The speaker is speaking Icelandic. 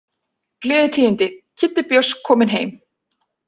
Gleðitíðindi. Kiddi Björns kominn heim!